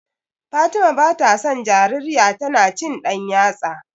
Fatima bata son jarirya tana cin ɗan yatsa.